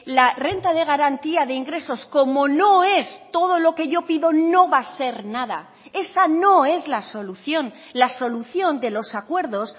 la renta de garantía de ingresos como no es todo lo que yo pido no va a ser nada esa no es la solución la solución de los acuerdos